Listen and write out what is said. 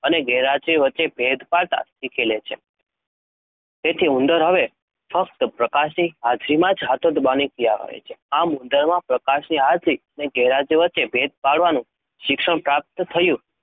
અને ગેરહાજરી વચ્ચે ભેદ પાડતાં શીખી લે છે. તેથી ઉંદર હવે ફક્ત પ્રકાશની હાજરીમાં જ હાથો દબાવવાની ક્રિયા કરે છે જે ઉદરમાં પ્રકાશની હાજરી અને ગેરહાજરી વચ્ચે ભેદ પાડવાનું શિક્ષણ પ્રાપ્ત થયું